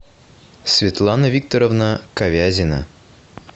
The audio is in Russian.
светлана викторовна ковязина